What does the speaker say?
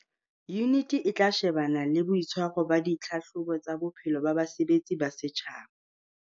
Yuniti e tla shebana le boitshwaro ba ditlhahlobo tsa bophelo ba basebetsi ba setjhaba.